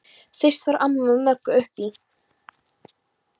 Fyrst fór amma með Möggu upp í